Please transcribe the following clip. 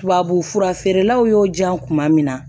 Tubabufura feerelaw y'o diyan kuma min na